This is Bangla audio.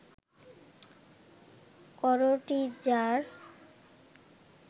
করোটি যাঁর